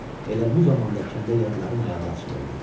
Elə bu zamanda kəndə yadların ayağı açılırdı.